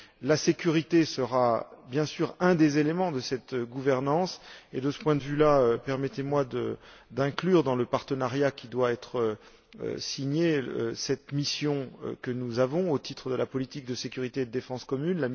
La sécurité sera, bien sûr, un des éléments de cette gouvernance et, de ce point de vue, permettez moi d'inclure dans le partenariat, qui doit être signé, la mission EUPOL que nous avons déployée au titre de la politique de sécurité et de défense commune.